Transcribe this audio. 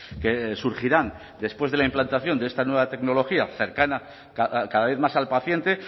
que surgirán después de la implantación de esta nueva tecnología cercana cada vez más al paciente